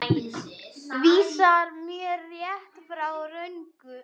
Vísar mér rétt, frá röngu.